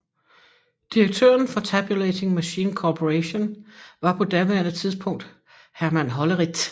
Direktøren for Tabulating Machine Corporation var på daværende tidspunkt Herman Hollerith